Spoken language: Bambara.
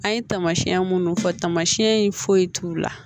An ye tamasiyɛn minnu fɔ tamasiɛn in foyi t'u la